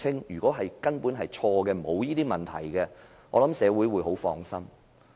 如果查清楚根本沒有這些問題，我想社會會很放心。